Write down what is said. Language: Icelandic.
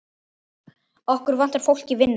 Okkur vantar fólk í vinnu.